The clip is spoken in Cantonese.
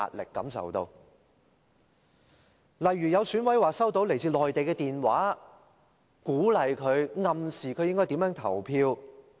例如，有選舉委員會委員說收到來自內地的電話，鼓勵、暗示他應該如何投票。